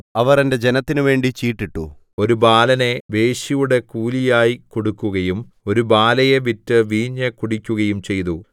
അവർ എന്റെ ജനത്തിനുവേണ്ടി ചീട്ടിട്ടു ഒരു ബാലനെ വേശ്യയുടെ കൂലിയായി കൊടുക്കുകയും ഒരു ബാലയെ വിറ്റ് വീഞ്ഞു കുടിക്കുകയും ചെയ്തു